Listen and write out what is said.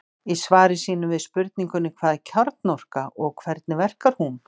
í svari sínu við spurningunni hvað er kjarnorka og hvernig verkar hún